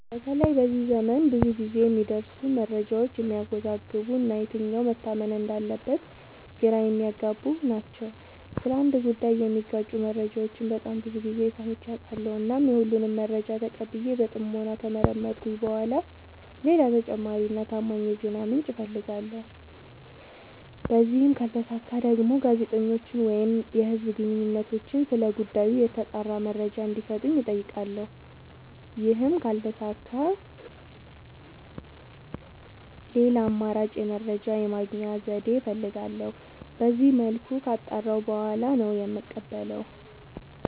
በተለይ በዚህ ዘመን ብዙ ግዜ የሚደርሱን መረጃዎች የሚያዎዛግቡ እና የትኛው መታመን እንዳለበት ግራ የሚያገቡ ናቸው። ስለ አንድ ጉዳይ የሚጋጩ መረጃዎችን በጣም ብዙ ግዜ ሰምቼ አውቃለሁ። እናም የሁሉንም መረጃ ተቀብዬ በጥሞና ከመረመርኩኝ በኋላ ሌላ ተጨማሪ እና ታማኝ የዜና ምንጭ አፈልጋለሁ። በዚህም ካልተሳካ ደግሞ ጋዜጠኞችን ወይም የህዝብ ግንኙነቶችን ስለ ጉዳዩ የተጣራ መረጃ እንዲ ሰጡኝ አጠይቃለሁ። ይህም ካልተሳካ ሌላ አማራጭ የመረጃ የማግኛ ዘዴ እፈልጋለሁ። በዚመልኩ ካጣራሁ በኋላ ነው የምቀበለው።